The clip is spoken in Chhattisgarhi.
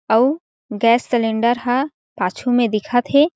अउ गैस सलेंडर हा पाछू में दिखत हे।